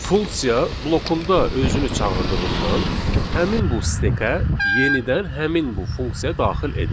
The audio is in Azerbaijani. Funksiya blokunda özünü çağırdığından həmin bu stekə yenidən həmin bu funksiya daxil edilir.